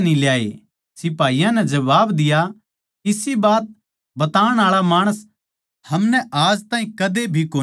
सिपाहियाँ नै जबाब दिया इसी बात बताण आळा माणस हमनै आज ताहीं कदे भी कोनी मिल्या